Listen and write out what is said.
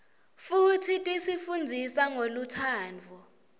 futsi tisi fundzisa ngolutsandvo